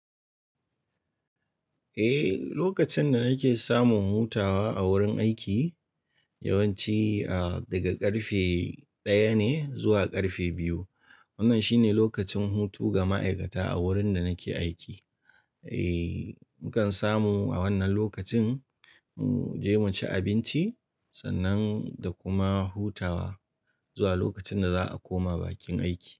Eh, lokacin da nake samun hutawa a wurin aiki yawanci, ah, daga ƙarfe ɗaya ne zuwa ƙarfe biyu. Wannan shine lokacin hutu ga ma'aikata a wurin da nake aiki. Eh, nakan samu a wannan lokacin, mu je mu ci abinci sannan da kuma hutawa zuwa lokacin da za a koma bakin aiki.